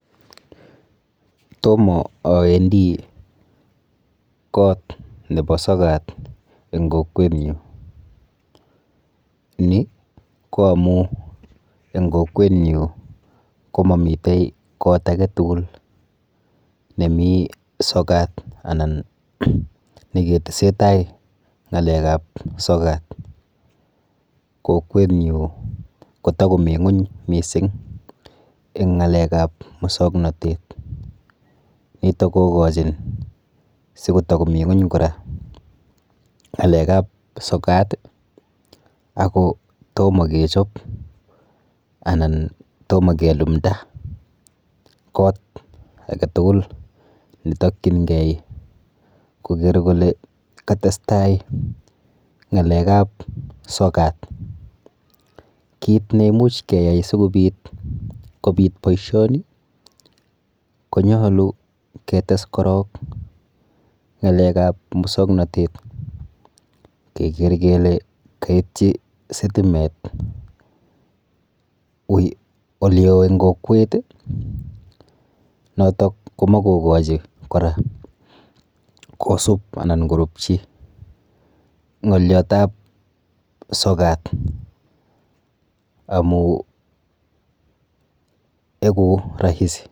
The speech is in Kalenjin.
Tomo awendi kot nepo sokat eng kokwenyu. Ni ko amu eng kokwenyu komamite kot aketugul nemi sokat anan niketesetai ng'alekap sokat. Kokwenyu kotakomi ng'uny mising eng ng'alekap mosoknotet. Nitok kokochin sitakomi ng'uny kora ng'alekap sokat ako tomo kechop anan tomo kelumda kot aketugul netokchingei koker kole katestai ng'alekap sokat. Kit neimuch keyai sikobit kobit boishoni konyolu ketes korok ketes ng'alekap musoknotet keker kele kaitchi sitimet oleoo eng kokwet, notok ko makokochi kora kosup anan korupchi ng'olyotap sokat amu eku rahisi.